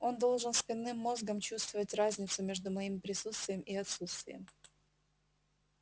он должен спинным мозгом чувствовать разницу между моими присутствием и отсутствием